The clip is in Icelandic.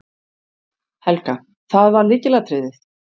Helga: Það var lykilatriðið?